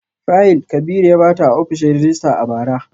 Fayil Kabiru ya bata a ofishin rejista a bara